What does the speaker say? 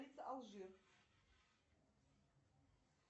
алжир